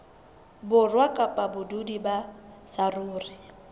borwa kapa badudi ba saruri